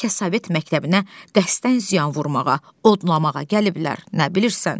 Bəlkə Sovet məktəbinə dəstdən ziyan vurmağa, odlamağa gəliblər, nə bilirsən?